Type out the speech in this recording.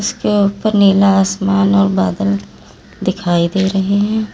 इसके ऊपर नीला आसमान और बादल दिखाई दे रहे है।